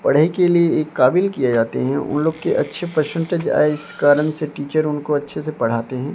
पढ़ाई के लिए एक काबिल किए जाते हैं उन लोग के अच्छे परसेंटेज आए इस कारण से टीचर उनको अच्छे से पढ़ाते हैं।